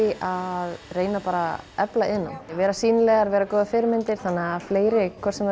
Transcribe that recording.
að reyna að efla iðnnám vera sýnilegar vera góðar fyrirmyndir þannig að fleiri hvort sem